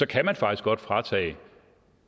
kan man faktisk godt fratage